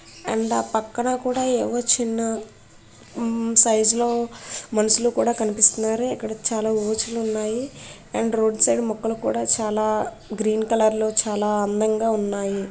And ఆపక్కన కూడా ఏవో చిన్న సైజ్ లో మనుషులు కూడా కనిపిస్తున్నారు. ఇక్కడ చాలా ఊచలు ఉన్నాయి. అండ్ రోడ్ సైడ్ మొక్కలు కూడా చాలా గ్రీన్ కలర్ లో చాలా అందంగా ఉన్నాయి.